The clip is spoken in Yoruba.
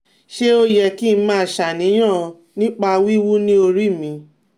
Ṣé ó yẹ kí n máa ṣàníyàn nípa wiwu ni ori mi?